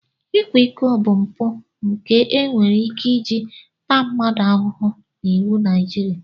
Ịkwa iko bụ mpụ nke e nwere ike iji taa mmadụ ahụhụ n'iwu Naijiria.